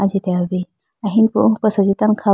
ajitehoyi bi ahinpu oko asenji tando kha.